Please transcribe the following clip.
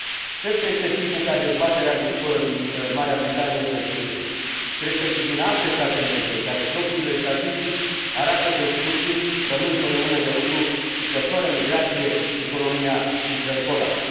Cred că este timpul ca dezbaterea ridicolă din Marea Britanie să înceteze, ca și din alte state membre, în care propriile statistici arată că în scurt timp rămân fără mână de lucru și că, fără migrație, economia intră în colaps.